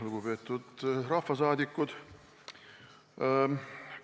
Lugupeetud rahvasaadikud!